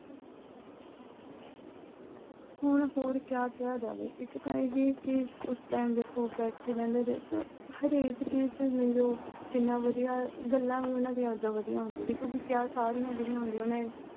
ਹੁਣ ਹੋਰ ਕਿਆ ਕਿਹਾ ਜਾਵੇ। ਇੱਕ ਤਾਂ ਇਹ ਵੀ ਉਸ time ਦੇਖੋ ਬੈਠੇ ਰਹਿੰਦੇ ਤੇ ਅਹ ਹਰੇਕ ਚੀਜ਼ ਚ ਹੀ ਦੇਖਲੋ ਕਿੰਨਾ ਵਧੀਆ, ਗੱਲਾਂ ਵੀ ਉਨ੍ਹਾਂ ਦੀਆਂ ਕਿੰਨੀਆਂ ਵਧੀਆ ਹੁੰਦੀਆਂ ਸੀ ਕਿਉਂ ਕਿ ਸਾਰੀਆਂ ਜਿਹੜੀਆਂ ਹੁੰਦੀਆਂ ਉਹਨੇ